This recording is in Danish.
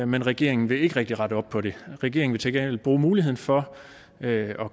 men regeringen vil ikke rigtig rette op på det regeringen vil til gengæld bruge muligheden for at